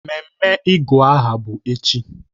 Ememe ịgụ aha bụ echi.